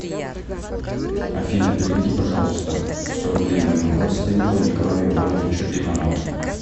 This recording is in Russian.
афина переведи пожалуйста сто рублей моему родственнику николаю ивановичу иванову